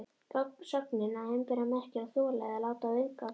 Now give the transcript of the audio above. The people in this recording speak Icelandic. Sögnin að umbera merkir að þola eða láta viðgangast.